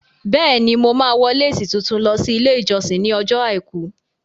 Bẹ́è ni, Màá wọ lésì tuntun lọ sí ilé ìjọsìn ní ọjọ́ àìkú